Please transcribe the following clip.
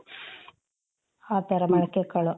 ಆ ತರ ಮೊಳಕೆ ಕಾಳು